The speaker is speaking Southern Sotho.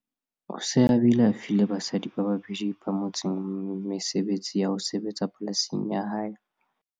O se a bile a file basadi ba babedi ba motseng mesebetsi ya ho sebetsa polasing ya hae.